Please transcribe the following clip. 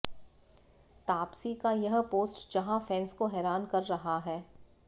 तापसी का यह पोस्ट जहां फैंस को हैरान कर रहा है